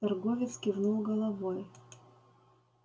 торговец кивнул головой